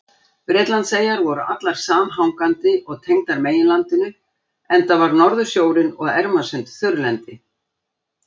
Bretlandseyjar voru allar samhangandi og tengdar meginlandinu enda var Norðursjórinn og Ermarsund þurrlendi.